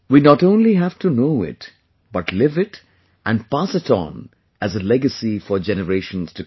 We not only have to know it, live it and pass it on as a legacy for generations to come